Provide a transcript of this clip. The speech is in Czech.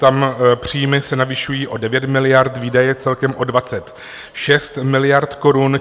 Tam příjmy se navyšují o 9 miliard, výdaje celkem o 26 miliard korun.